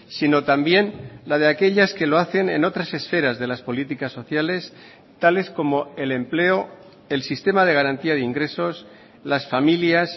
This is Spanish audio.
sino también la de aquellas que lo hacen en otras esferas de las políticas sociales tales como el empleo el sistema de garantía de ingresos las familias